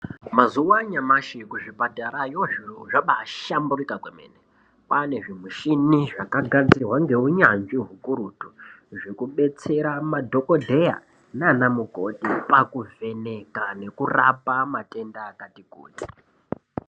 Mazuva anyamashi kuzvi patara yo zviro zvambai shamburuka kwomene kwane zvimishina zvaka gadzirwa nge unyanzvi ukurutu zveku betsera madhokoteya nana mukoti paku vheneka neku rapa matenda akati kuti.